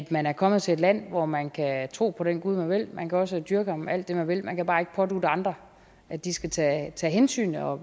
man er kommet til et land hvor man kan tro på den gud man vil man kan også have dyrket ham alt det man vil man kan bare ikke pådutte andre at de skal tage tage hensyn og